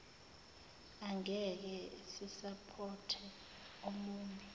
angekhe sisapothe omune